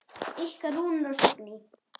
Ykkar Rúnar og Signý.